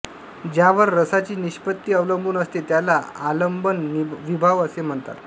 ज्यांवर रसाची निष्पत्ती अवलंबून असते त्याला आलंबन विभाव असे म्हणतात